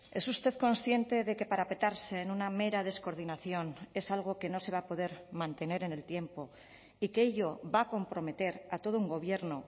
es usted consciente de que parapetarse en una mera descoordinación es algo que no se va a poder mantener en el tiempo y que ello va a comprometer a todo un gobierno